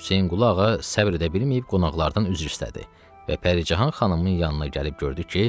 Hüseynqulu Ağa səbr edə bilməyib qonaqlardan üzr istədi və Pəricahan xanımın yanına gəlib gördü ki,